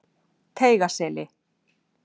Teigaseli